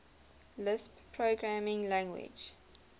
lisp programming language